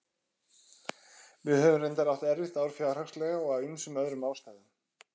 Við höfum reyndar átt erfitt ár fjárhagslega og af ýmsum öðrum ástæðum.